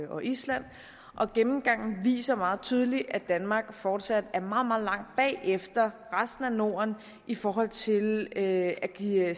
og island og gennemgangen viser meget tydeligt at danmark fortsat er meget meget langt bagefter resten af norden i forhold til at give